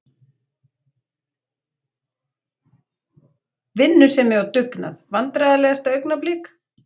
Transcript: Vinnusemi og dugnað Vandræðalegasta augnablik?